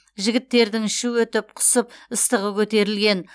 жігіттердің іші өтіп құсып ыстығы көтерілген